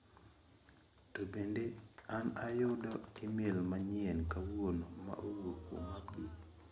To bende na ayudo imel manyien kawuono ma owuok kuom Abdi?